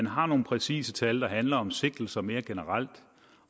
har nogle præcise tal der handler om sigtelser mere generelt